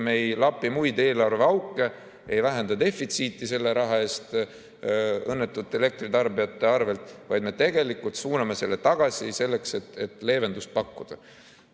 Me ei lapi muid eelarveauke, ei vähenda defitsiiti selle raha eest õnnetute elektritarbijate arvel, vaid me tegelikult suuname selle tagasi selleks, et leevendust pakkuda.